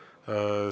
Suur tänu!